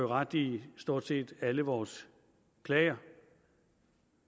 ret i stort set alle vores klager